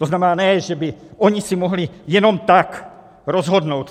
To znamená, ne že by oni si mohli jenom tak rozhodnout.